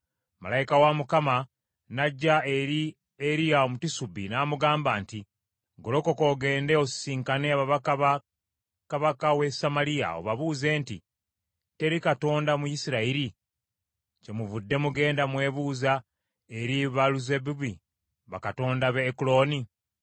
Malayika wa Mukama n’ajja eri Eriya Omutisubi n’amugamba nti, “Golokoka, ogende osisinkane ababaka ba kabaka w’e Samaliya, obabuuze nti, ‘Teri Katonda mu Isirayiri, kyemuvudde mugenda mwebuuza eri Baaluzebubi bakatonda b’e Ekuloni?’